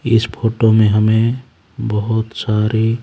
इस फोटो मे हमें बहुत सारी--